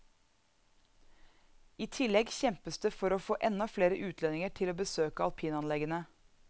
I tillegg kjempes det for å få enda flere utlendinger til å besøke alpinanleggene.